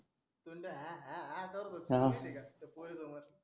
धूनड्या हया हया करत होता माहिती आहे का त्या पोरी सोमर